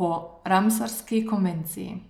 po Ramsarski konvenciji.